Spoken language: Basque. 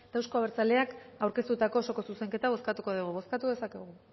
eta euzko abertzaleak aurkeztutako osoko zuzenketa bozkatuko dugu bozkatu dezakegu